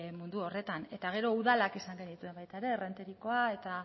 mundu horretan eta gero udalak izan genituen baita ere errenteriakoa eta